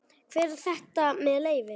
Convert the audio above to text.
Hver er þetta með leyfi?